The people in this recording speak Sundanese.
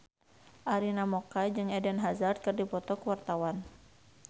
Arina Mocca jeung Eden Hazard keur dipoto ku wartawan